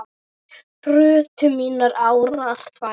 brutu mínar árar tvær